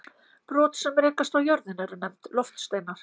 Brot sem rekast á jörðina eru nefnd loftsteinar.